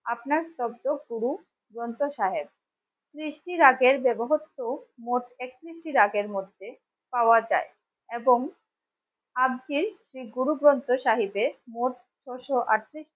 আপনার শব্দ গুরু গ্রন্থ সাহেব। তৃপ্তি রাগের দেবহস্ত মোট একত্রিশটি রাগের মধ্যে পাওয়া যায় এবং আজকে যে গুরু গ্রন্থ সাহিদের মোট ছশো আটত্রিশটি